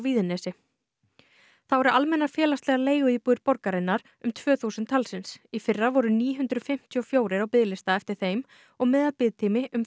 þá eru almennar félagslegar leiguíbúðir borgarinnar um tvö þúsund talsins í fyrra voru níu hundruð fimmtíu og fjögur á biðlista eftir þeim og meðalbiðtími þrjátíu og átta mánuðir